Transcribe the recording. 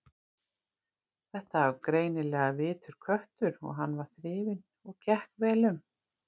Þetta var greinilega vitur köttur og hann var þrifinn og gekk vel um.